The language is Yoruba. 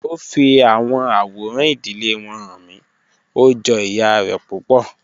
O fi awọn aworan idile wọn han mi, o jọ iya rẹ pupọ.